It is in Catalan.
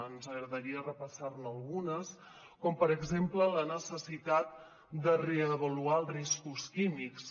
ens agradaria repassar ne algunes com per exemple la necessitat de reavaluar els riscos químics